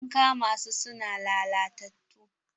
An kama su su na lalatattu.